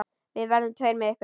Við verðum tveir með ykkur.